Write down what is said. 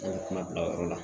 An ye kuma bila o yɔrɔ la